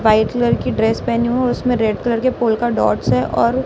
white colour की dress पहनी हूं और उसमें रेड कलर के फूल का डॉट्स है और--